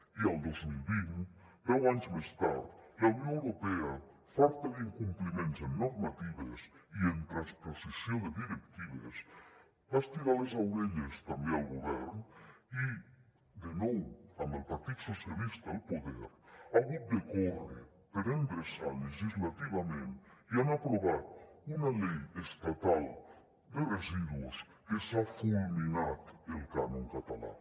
i el dos mil vint deu anys més tard la unió europea farta d’incompliments en normatives i en transposició de directives va estirar les orelles també al govern i de nou amb el partit socialista al poder ha hagut de córrer per endreçar legislativament i han aprovat una llei estatal de residus que s’ha fulminat el cànon català